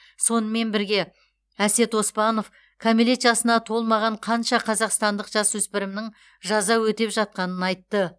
сонымен бірге әсет оспанов кәмелет жасына толмаған қанша қазақстандық жасөспірімнің жаза өтеп жатқанын айтты